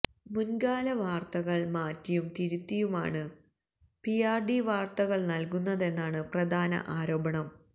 മൂന്കാലവാര്ത്തകള് മാറ്റിയും തിരുത്തിയുമാണ് പിആര്ഡി വാര്ത്തകള് നല്കുന്നതെന്നാണ് പ്രധാന ആരോപണം